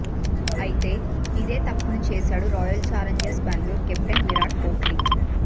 అయితే ఇదే తప్పును చేశాడు royal challengers Bengaluru captain Virat Kohli